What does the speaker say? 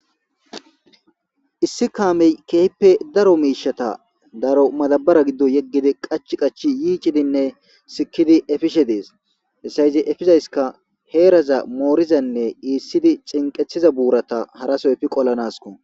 Issi kameyi kehippe daro mishshata madabara giddoni yegidi qachchi qachchi yiccidinne simidi efishshe deesi hesa izi efizzayisikka heeraza morizanne esidi ciniqetiza buraza efidi haraso qolanasikko